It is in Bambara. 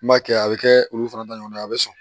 N b'a kɛ a bɛ kɛ olu fana ta ɲɔgɔnna ye a bɛ sɔn